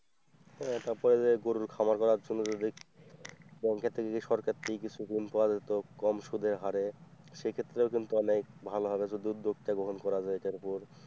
হ্যাঁ তারপরে যে গরুর খামার করার জন্য যদি ব্যাংকে থেকে কি সরকার থেকে কিছু ঋণ পাওয়া যেত কম সুদের হারে সেক্ষেত্রেও কিন্তু অনেক ভালো হবে যদি উদ্যোক্তা গ্রহণ করা যায় এটার ওপর।